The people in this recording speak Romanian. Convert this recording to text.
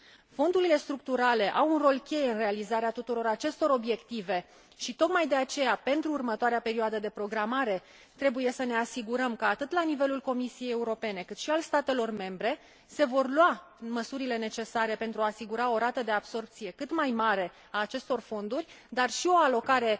Fondurile structurale au un rol cheie în realizarea tuturor acestor obiective și, tocmai de aceea, pentru următoarea perioadă de programare trebuie să ne asigurăm că, atât la nivelul Comisiei Europene, cât și al statelor membre, se vor lua măsurile necesare pentru a asigura o rată de absorbție cât mai mare a acestor fonduri, dar și o alocare